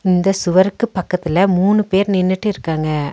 இந்த சுவருக்கு பக்கத்துல மூணு பேர் நின்னுட்டு இருக்காங்க.